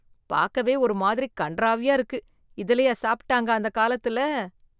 பார்க்கவே ஒரு மாதிரி கண்றாவியா இருக்கு. இதுலயா சாப்பிட்டாங்க, அந்த காலத்துல.